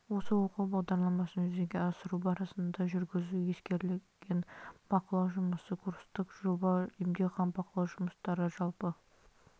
осы оқу бағдарламасын жүзеге асыру барысында жүргізу ескерілген бақылау жұмысы курстық жоба емтихан бақылау жұмыстары жалпы